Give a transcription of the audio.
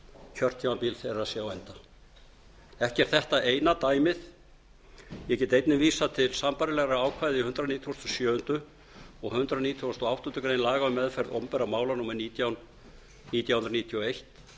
kjörtímabil þeirra sé á enda ekki er þetta eina dæmið ég get einnig vísað til sambærilegra ákvæða í hundrað nítugasta og sjöunda og hundrað nítugasta og áttundu grein laga um meðferð opinberra mála númer nítján nítján hundruð níutíu og eitt